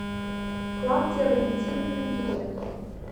клавдия валентиновна кириенко